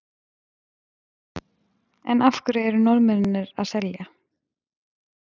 En af hverju eru Norðmennirnir að selja?